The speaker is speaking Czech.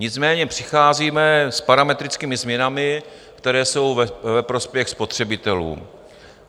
Nicméně přicházíme s parametrickými změnami, které jsou ve prospěch spotřebitelů.